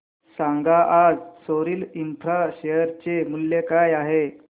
सांगा आज Soril infra share चे मूल्य काय आहे